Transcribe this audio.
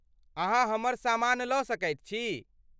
अहाँ हमर सामान लऽ सकैत छी।